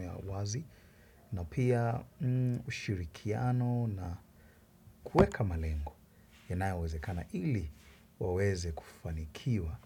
ya wazi na pia ushirikiano na kuweka malengo. Yanayo wezekana ili waweze kufanikiwa.